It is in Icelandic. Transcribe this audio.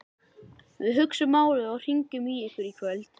Við hugsum málið og hringjum í ykkur í kvöld